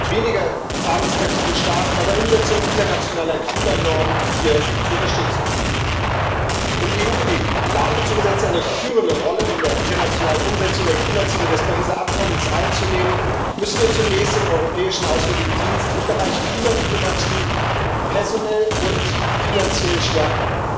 weniger zahlungskräftige Staaten hier bei der Umsetzung internationaler Klimanormen zu unterstützen. Um die EU in die Lage zu versetzen, eine führende Rolle in der internationalen Umsetzung der Klimaziele des Übereinkommens von Paris einzunehmen, müssen wir zunächst den Europäischen Auswärtigen Dienst im Bereich Klimadiplomatie personell und finanziell stärken.